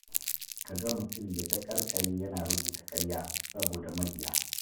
Ka ga mutum ya taƙarƙare yana rubuta ƙarya, saboda mabiya.